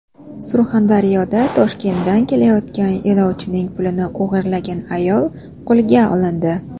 Surxondaryoda Toshkentdan kelayotgan yo‘lovchining pulini o‘g‘irlagan ayol qo‘lga olindi.